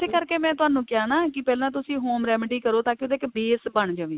ਕਰਕੇ ਮੈਂ ਤੁਹਾਨੂੰ ਕਿਹਾ ਹੈ ਨਾ ਕਿ ਪਹਿਲਾ ਤੁਸੀਂ home remedy ਕਰੋ ਤਾਂ ਕਿ ਉਹਦਾ ਇੱਕ base ਬਣ ਜਾਵੇ